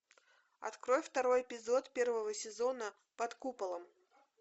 открой второй эпизод первого сезона под куполом